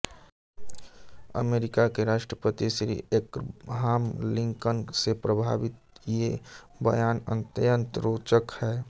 अमरीका के राष्ट्रपति Shri Abraham Lincoln से प्रभावित ये बयान अत्यंत रोचक है